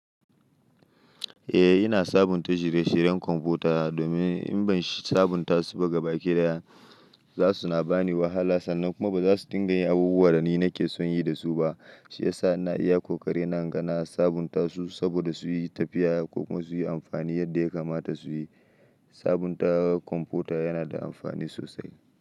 Eh ina sabunta shire-shiren kwamfuta domin in ban sabunta su ba gaba kidaya za su na ba ni wahala sannan kuma ba za su dinga yin abubuwan da ni nake son yi da su ba. Shi yasa ina iya kokarina na ga na sabunta su saboda su yi tafiya ko kuma su yi amfani yadda ya kamata su yi. Sabunta kwamfuta yana da amfani sosai.